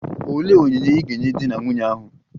Olee onyinye ị ga-enye di na nwunye ahụ?